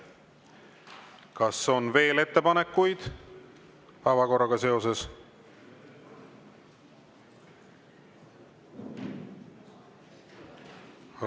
Kas on veel ettepanekuid päevakorraga seoses?